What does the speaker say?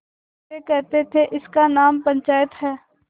वे कहते थेइसका नाम पंचायत है